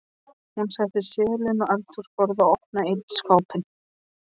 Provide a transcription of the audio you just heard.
Hún setti seðilinn á eldhúsborðið og opnaði einn skápinn.